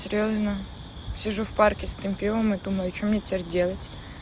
серьёзно сижу в парке с этим пивом и думаю что мне теперь делать